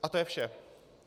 A to je vše.